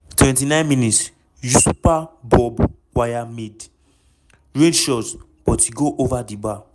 29 mins- yusupha bobb waya mid-range shot but e go ova di bar.